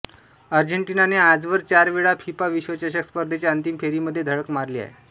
आर्जेन्टिनाने आजवर चार वेळा फिफा विश्वचषक स्पर्धेच्या अंतिम फेरीमध्ये धडक मारली आहे